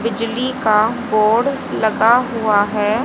बिजली का बोर्ड लगा हुआ है।